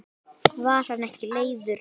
Var hann ekki leiður?